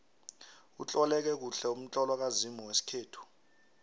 utloleke kuhle umtlolo kazimu wesikhethu